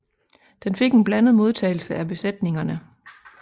Den fik en blandet modtagelse af besætningerne